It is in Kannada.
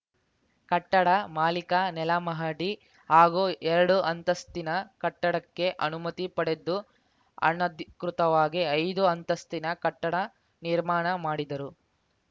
ಕಟ್ಟಡ ಮಾಲೀಕ ನೆಲಮಹಡಿ ಹಾಗೂ ಎರಡು ಅಂತಸ್ತಿನ ಕಟ್ಟಡಕ್ಕೆ ಅನುಮತಿ ಪಡೆದು ಅನಧಿಕೃತವಾಗಿ ಐದು ಅಂತಸ್ತಿನ ಕಟ್ಟಡ ನಿರ್ಮಾಣ ಮಾಡಿದರು